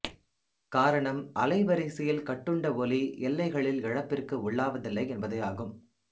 காரணம் அலைவரிசையில் கட்டுண்ட ஒலி எல்லைகளில் இழப்பிற்கு உள்ளாவதில்லை என்பதேயாகும்